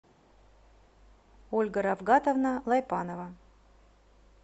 ольга рафгатовна лайпанова